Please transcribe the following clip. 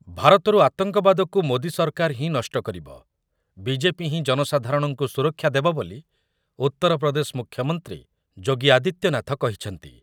ଭାରତରୁ ଆତଙ୍କବାଦକୁ ମୋଦି ସରକାର ହିଁ ନଷ୍ଟ କରିବ, ବିଜେପି ହିଁ ଜନସାଧାରଣଙ୍କୁ ସୁରକ୍ଷା ଦେବ ବୋଲି ଉତ୍ତରପ୍ରଦେଶ ମୁଖ୍ୟମନ୍ତ୍ରୀ ଯୋଗୀ ଆଦିତ୍ୟନାଥ କହିଛନ୍ତି ।